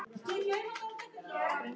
Hvernig heldurðu að þetta fari með Kristínu?